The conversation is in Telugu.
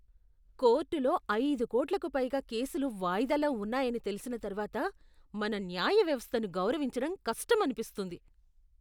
కోర్టులో అయిదు కోట్లకు పైగా కేసులు వాయిదాలో ఉన్నాయని తెలిసిన తర్వాత మన న్యాయ వ్యవస్థను గౌరవించడం కష్టం అనిపిస్తుంది.